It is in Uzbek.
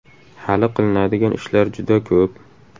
–Hali qilinadigan ishlar juda ko‘p.